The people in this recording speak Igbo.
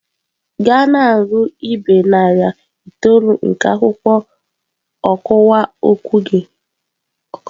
Gaa na-agụ ibe narị itoolu nke akwụkwọ ọkọwa okwu gị!.